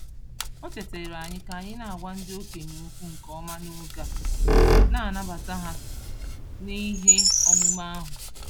O chetaara anyị ka anyị na-agwa ndị okenye okwu nke ọma n'oge a na-anabata ha n'ihe omume ahụ.